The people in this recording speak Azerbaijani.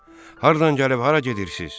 Hardan gəlib hara gedirsiz?